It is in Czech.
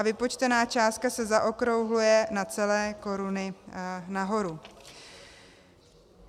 A vypočtená částka se zaokrouhluje na celé koruny nahoru.